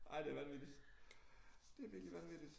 Ej det vanvittigt det virkelig vanvittigt